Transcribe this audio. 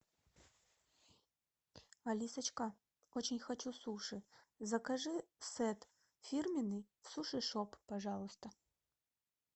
алисочка очень хочу суши закажи сет фирменный в суши шоп пожалуйста